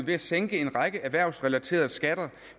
ved at sænke en række erhvervsrelaterede skatter